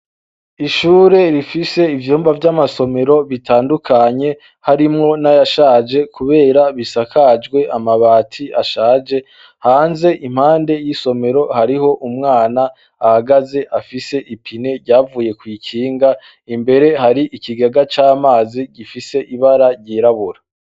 Ishure rifise ivyumba vy'amasomero bitandukanye, harimwo n'ayashaje kubera bisakajwe amabati ashaje; hanze impande y'isomero hariho umwana ahagaze afise ipine ryavuye kw'ikinga. Imbere hari ikigega c'amazi gifise ibara ryirabura.